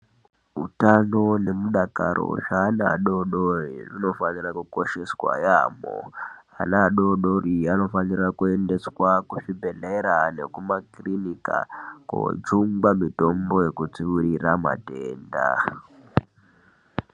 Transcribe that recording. Utano nemudakaro wezvana adori dori hunofanira kukosheswa yaemho. Ana adori dori anofanira kuendeswa kuzvibhedhlera nekumakirinika kojungwa mitombo yekudziwirira matenda.